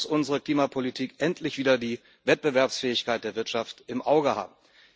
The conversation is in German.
Deshalb muss unsere Klimapolitik endlich wieder die Wettbewerbsfähigkeit der Wirtschaft im Auge haben.